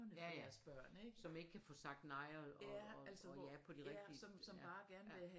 Ja ja som ikke kan få sagt nej og ja på de rigtige ja